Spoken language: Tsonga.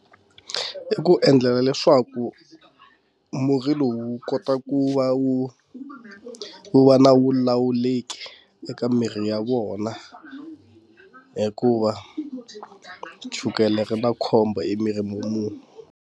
I ku endlela leswaku murhi lowu wu kota ku va wu wu va na wu lawuleki eka mirhi ya vona hikuva chukele ri na khombo emirini wa munhu.